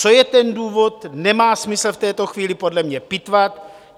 Co je ten důvod, nemá smysl v této chvíli podle mě pitvat.